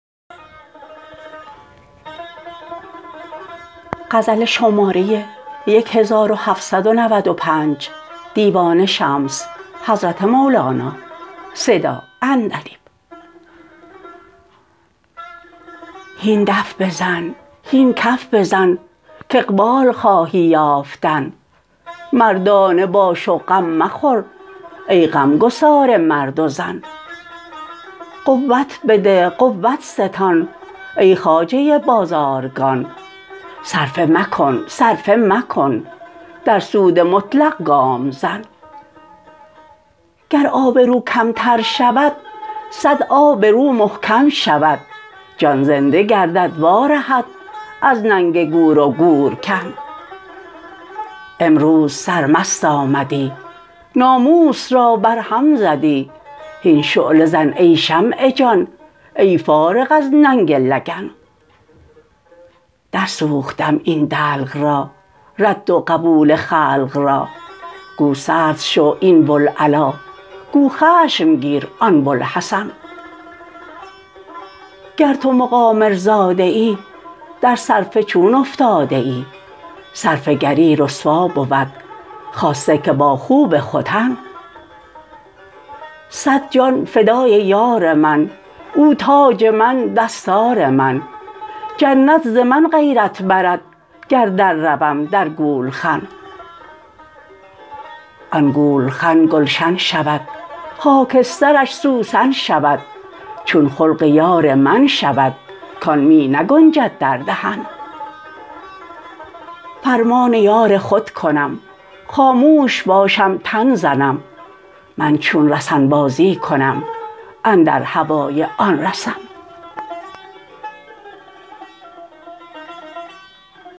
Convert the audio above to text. هین دف بزن هین کف بزن کاقبال خواهی یافتن مردانه باش و غم مخور ای غمگسار مرد و زن قوت بده قوت ستان ای خواجه بازارگان صرفه مکن صرفه مکن در سود مطلق گام زن گر آب رو کمتر شود صد آب رو محکم شود جان زنده گردد وارهد از ننگ گور و گورکن امروز سرمست آمدی ناموس را برهم زدی هین شعله زن ای شمع جان ای فارغ از ننگ لگن درسوختم این دلق را رد و قبول خلق را گو سرد شو این بوالعلا گو خشم گیر آن بوالحسن گر تو مقامرزاده ای در صرفه چون افتاده ای صرفه گری رسوا بود خاصه که با خوب ختن صد جان فدای یار من او تاج من دستار من جنت ز من غیرت برد گر درروم در گولخن آن گولخن گلشن شود خاکسترش سوسن شود چون خلق یار من شود کان می نگنجد در دهن فرمان یار خود کنم خاموش باشم تن زنم من چون رسن بازی کنم اندر هوای آن رسن